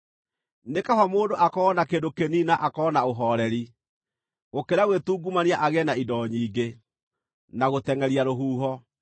Nĩ kaba mũndũ akorwo na kĩndũ kĩnini na akorwo na ũhooreri, gũkĩra gwĩtungumania agĩe na indo nyingĩ, na gũtengʼeria rũhuho.